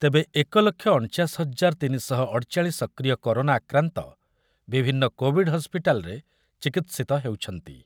ତେବେ ଏକ ଲକ୍ଷ ଅଣଚାଶ ହଜାର ତିନି ଶହ ଅଠଚାଳିଶ ସକ୍ରିୟ କରୋନା ଆକ୍ରାନ୍ତ ବିଭିନ୍ନ କୋଭିଡ଼୍ ହସ୍ପିଟାଲ୍‌ରେ ଚିକିତ୍ସିତ ହେଉଛନ୍ତି ।